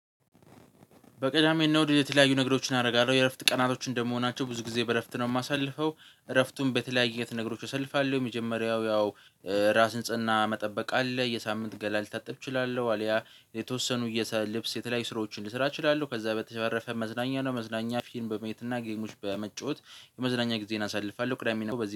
በቅዳሜ እነ አሁድ የተለያዩ ነገሮችን አደርጋለሁ የእረፍት ቀናቶች እንደመሆናቸው ብዙ ጊዜ በእረፍት ነው የማሳልፈው። እረፍቱን በተለያየ አይነት ነገሮች እሳልፋለሁ የመጀመሪያው ያው የራስ ንጽህና መጠበቅ አለ። የሳምንት ገላ ልታጥብ እችላለሁ አልያ የተወሰኑ የሰ ልብስ የተለያዩ ስራዎችን ልሳራ እችላለሁ። ከዛ በተባረፈ መዝናኛ ነው መዝናኛ ፊልም በመየት እና ጌሞችን በመጫወት የመዝናኛ ጊዜዬን አሳልፋለሁ። ቅዳሜ እና አሁድ በዚህ